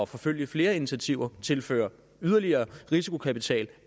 forfølge flere initiativer tilføre yderligere risikokapital